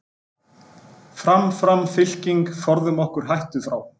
Fram, fram fylking, forðum okkur hættu frá.